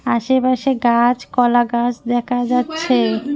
আশেপাশে গাছ কলাগাছ দেকা যাচ্ছে।